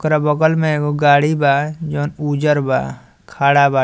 एकरा बगल में एगो गाड़ी बा जोवन उजर बा ठाड़ा बा।